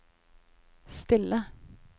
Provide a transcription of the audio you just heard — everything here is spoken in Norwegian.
stille